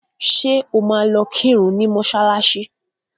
Ṣé o máa lọ kírun ní mọ́ṣálạ́ṣí?